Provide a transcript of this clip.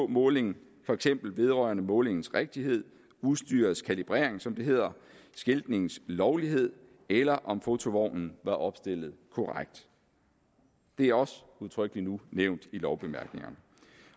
måling for eksempel vedrørende målingens rigtighed udstyrets kalibrering som det hedder skiltningens lovlighed eller om fotovognen var opstillet korrekt det er også udtrykkelig nu nævnt i lovbemærkningerne